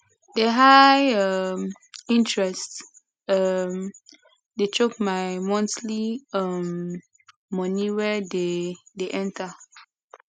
the high um interest um dey choke my monthly um money wey dey dey enter